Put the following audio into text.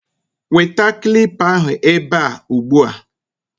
Weta kilipa ahụ ebe a ugbu a!